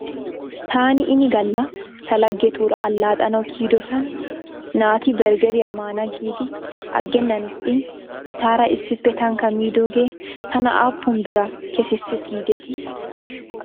Taani ini gala ta laggetuura allaxxanaw kiyidosan naati berggeriyaa maana giidi aggenna ixxin etaara issippe tankka miidoogee tana aappun biraa kesissis giidetii?